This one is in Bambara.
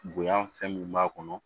Bonya fɛn min b'a kɔnɔ